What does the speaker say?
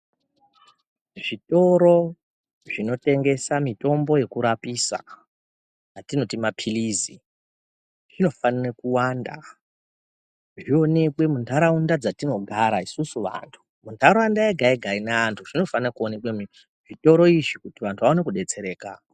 Zvitoro zvinotengesa mitombo yekurapisa atinoti maphirizi zvinofanire kuwanda zvionekwe muntaraunda dzatinogara isusu vantu. Muntaraunda yega-yega ine vantu zvinofana kuoneka zvitoro izvi kuti vantu vaone kubetsereka.